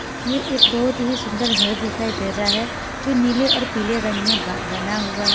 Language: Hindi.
ये एक बहोत ही सुंदर घर दिखाई दे रहा है जो नीले और पीले रंग में ब बना हुआ है।